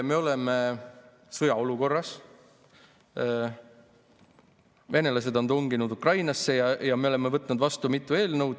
Me oleme sõjaolukorras, venelased on tunginud Ukrainasse ja me oleme võtnud vastu mitu eelnõu.